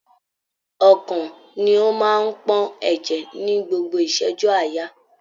Ọkàn ni o máa n pọn ẹjẹ ni gbogbo iṣẹju aaya.